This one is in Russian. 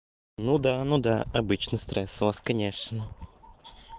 ну да ну да обычный стресс у вас конечно